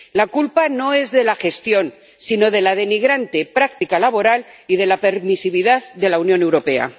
La culpa no es de la gestión, sino de la denigrante práctica laboral y de la permisividad de la Unión Europea.